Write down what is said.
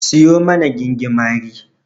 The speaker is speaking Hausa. Siyo mana gingimari.